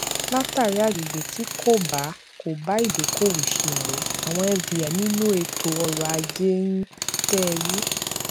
látàrí agbègbè tí kò bá kò bá ìdókòwò ṣe ọrẹ àwọn fdi nínú ètò ọrọajé ń tẹrí